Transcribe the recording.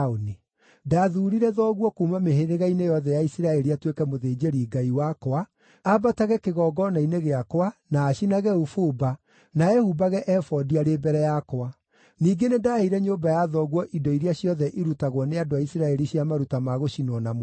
Ndathuurire thoguo kuuma mĩhĩrĩga-inĩ yothe ya Isiraeli atuĩke mũthĩnjĩri-Ngai wakwa, aambatage kĩgongona-inĩ gĩakwa, na acinage ũbumba, na ehumbage ebodi arĩ mbere yakwa. Ningĩ nĩndaheire nyũmba ya thoguo indo iria ciothe irutagwo nĩ andũ a Isiraeli cia maruta ma gũcinwo na mwaki.